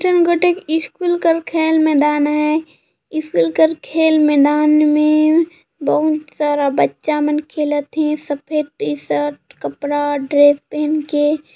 school का खेल मैदान है स्कूल के खेल मैदान में बहुत सारा बच्चा मन खेलत हे सफ़ेद टी शर्ट कपडा ड्रेस पहनके--